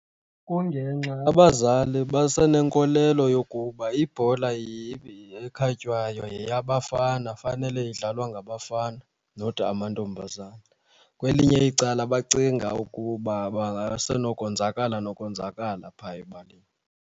Kungenxa abazali basenenkolelo yokuba ibhola ekhatywayo yeyabafana, fanele idlalwa ngabafana not amantombazana. Kwelinye icala bacinga ukuba basenokonzakala nokonzakala phaya ebaleni.